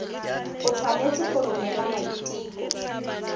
o tshwanetse go romela maiteko